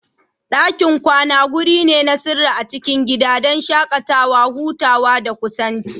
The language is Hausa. Dakin kwana wuri ne na sirri a cikin gida, don shakatawa, hutawa, da kusanci.